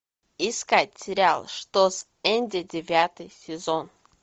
искать сериал что с энди девятый сезон